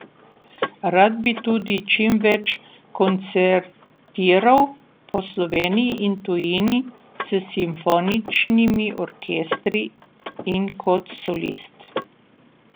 Rad bi tudi čim več koncertiral po Sloveniji in tujini s simfoničnimi orkestri in kot solist.